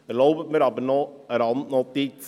Erlauben Sie mir noch eine Randnotiz.